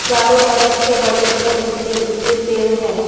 चारों तरफ से बड़े-बड़े ऊंचे-ऊंचे पेड़ है।